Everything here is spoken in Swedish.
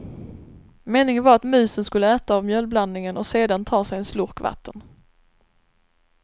Meningen var att musen skulle äta av mjölblandningen och sedan ta sig en slurk vatten.